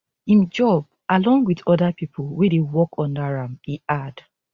im job along wit oda pipo wey dey work under am e add